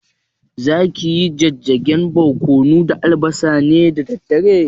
Zaki yi jijjigen barƙwano da albasa ne da dare?